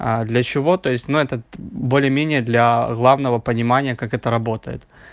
а для чего то есть на этот более менее для главного понимания как это работает